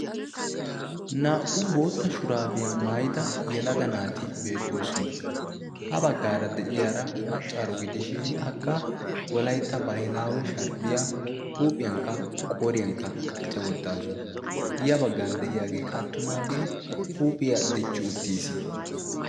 naa77u bootta shuraabiyaa maayida yalaga naati beettoosona ha baggaara de7iyaara maccaaro gidishin akka walaytta baahilaawe sharbbiyaa huuphiyankka qooriyankka qachcha wottaasu ya baggan de7iyaagee qaattumaagee huuphiyaa dichchi uttiis